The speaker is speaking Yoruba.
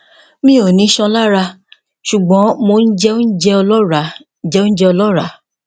ìbéèrè mi o ni ishan ni ara sugbon mo n je ounje olora je ounje olora